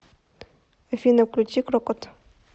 афина включи крокот